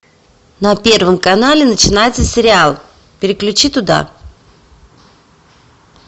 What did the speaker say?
на первом канале начинается сериал переключи туда